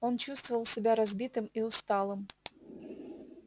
он чувствовал себя разбитым и усталым